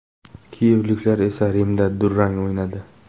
Kiyevliklar esa Rimda durang o‘ynadi.